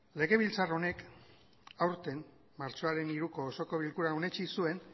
legebiltzar honek aurten martxoaren hiruko osoko bilkuran onetsi zuen